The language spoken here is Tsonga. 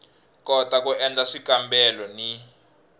kota ku endla swikambelo ni